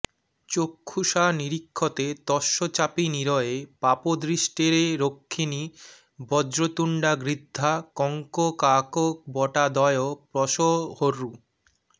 চক্ষুষা নিরীক্ষতে তস্য চাপি নিরয়ে পাপদৃষ্টেরক্ষিণী বজ্রতুণ্ডা গৃধ্রাঃ কঙ্ককাকবটাদয়ঃ প্রসহ্যোরু